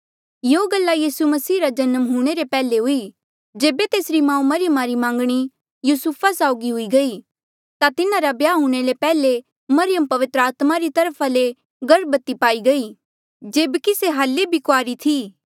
यूयाँ गल्ला यीसू मसीहा रा जन्म हूंणे रे पैहले हुई जेबे तेसरी माऊ मरियमा री मांगणी युसुफा साऊगी हुई गई ता तिन्हारा ब्याह हूणें ले पैहले मरियम पवित्र आत्मा री तरफा ले गर्भवती पाई गई जेबकि से हाल्ले भी कुआरी थी